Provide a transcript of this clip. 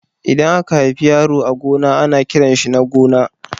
Idan aka haifi yaro a gona ana kiranshi Nagona